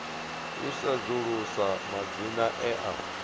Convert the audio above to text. u sedzulusa madzina e a